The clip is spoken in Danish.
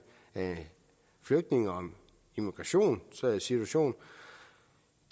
flygtninge og migrationsituation